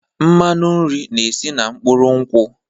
Mmanụ nri na-esi na mkpụrụ nkwụ.